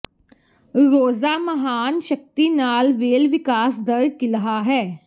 ਰੋਜ਼ਾ ਮਹਾਨ ਸ਼ਕਤੀ ਨਾਲ ਵੇਲ ਵਿਕਾਸ ਦਰ ਕਿਲ੍ਹਾ ਹੈ